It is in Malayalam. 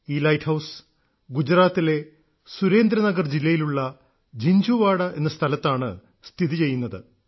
ഈ ലൈറ്റ് ഹൌസ് ഗുജറാത്തിലെ സുരേന്ദ്ര നഗർ ജില്ലയിലുള്ള ജിൻഝുവാഡ എന്ന സ്ഥലത്താണ് സ്ഥിതി ചെയ്യുന്നത്